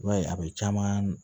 I b'a ye a be caman